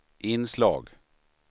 inslag